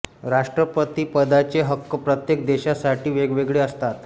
राष्ट्रपती पदाचे हक्क प्रत्येक देशा साठी वेगवेगळे असतात